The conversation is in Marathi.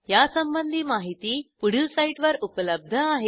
यासंबंधी माहिती पुढील साईटवर उपलब्ध आहे